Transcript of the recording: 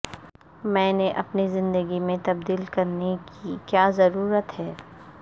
میں نے اپنی زندگی میں تبدیل کرنے کی کیا ضرورت ہے